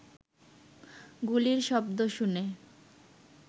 গুলির শব্দ শুনে